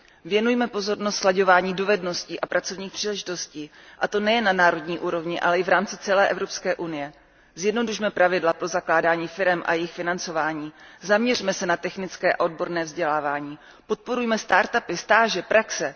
Věnujme pozornost slaďování dovedností a pracovních příležitostí, a to nejen na národní úrovni, ale i v rámci celé Evropské unie. Zjednodušme pravidla pro zakládání firem a jejich financování, zaměřme se na technické a odborné vzdělávání, podporujme začínající firmy, stáže, praxe.